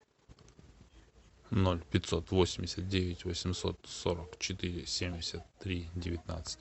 ноль пятьсот восемьдесят девять восемьсот сорок четыре семьдесят три девятнадцать